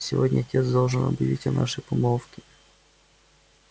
сегодня отец должен объявить о нашей помолвке